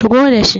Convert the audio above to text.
shigo da shi!